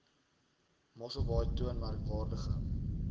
mosselbaai toon merkwaardige